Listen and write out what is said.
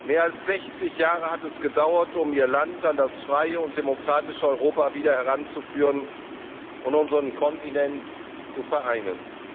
Mehr als 60 Jahre hat es gedauert, um Ihr Land an das freie und demokratische Europa wieder heranzuführen und unseren Kontinent zu vereinen.